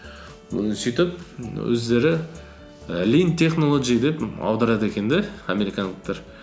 і сөйтіп өздері і линд технолоджи деп аударады екен де американдықтар